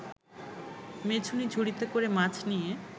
মেছুনী ঝুড়িতে করে মাছ নিয়ে